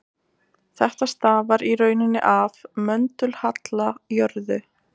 þetta stafar í rauninni af möndulhalla jarðar